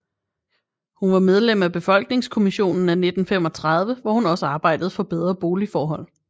Hun var medlem af Befolkningskommissionen af 1935 hvor hun også arbejdede for bedre boligforhold